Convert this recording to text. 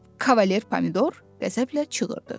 Kavalier Pomidor qəzəblə çığırdı.